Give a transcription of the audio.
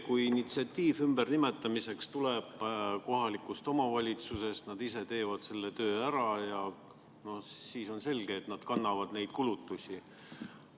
Kui initsiatiiv ümbernimetamiseks tuleb kohalikust omavalitsusest, siis nad ise teevad selle töö ära ja on selge, et nad kannavad need kulutused.